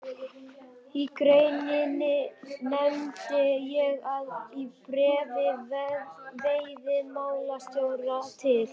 Í greininni nefndi ég að í bréfi veiðimálastjóra til